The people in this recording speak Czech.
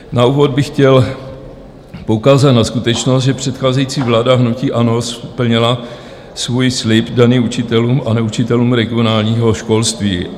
Na úvod bych chtěl poukázat na skutečnost, že předcházející vláda hnutí ANO splnila svůj slib daný učitelům a neučitelům regionálního školství.